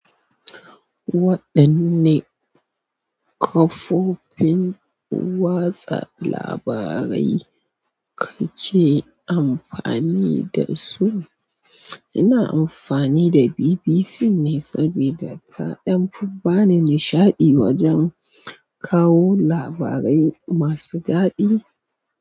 Waɗanne kafofin watsa labarai kake amfani da su? Ina amfani da BBC ne saboda ta ɗan fi ɓani nishaɗi wajen kawo labarai masu daɗi.